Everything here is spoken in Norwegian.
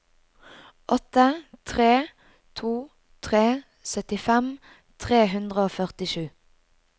åtte tre to tre syttifem tre hundre og førtisju